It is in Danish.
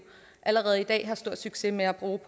allerede i dag har stor succes med at bruge